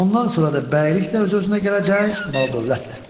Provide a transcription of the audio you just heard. Ondan sonra da bəylik də öz-özünə gələcək, mal-dövlət də.